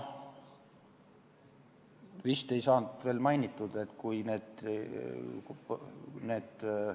Vist ei saanud veel mainitud, et kui need ...